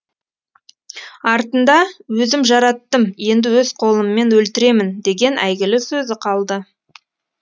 артында өзім жараттым енді өз қолыммен өлтіремін деген әйгілі сөзі қалды